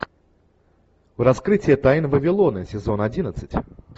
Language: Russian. раскрытие тайн вавилона сезон одиннадцать